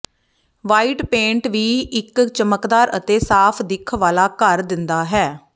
white paint ਵੀ ਇਕ ਚਮਕਦਾਰ ਅਤੇ ਸਾਫ ਦਿੱਖ ਵਾਲਾ ਘਰ ਦਿੰਦਾ ਹੈ